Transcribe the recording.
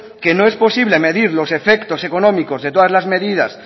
que no es posible medir los efectos económicos de todas las medidas